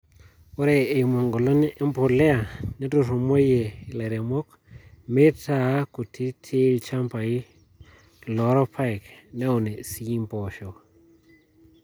Ore eimu eng`olon e mpolea neturrumoyie ilairemok meitaa kutitiilchambai loo irpayek neun sii mpoosho.